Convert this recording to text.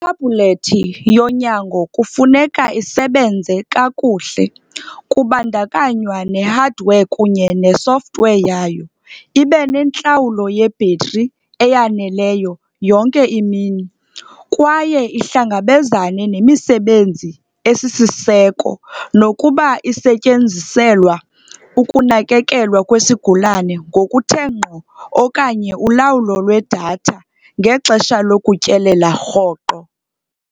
thebhulethi yonyango kufuneka isebenze kakuhle kubandakanywa ne-hardware kunye ne-software yayo, ibe nentlawulo yebhetri eyaneleyo yonke imini, kwaye ihlangabezane nemisebenzi eyisiseko, nokuba isetyenziselwa ukunakekelwa kwesigulane ngokuthe ngqo okanye ulawulo lwedatha elula ngexesha lokutyelela rhoqo.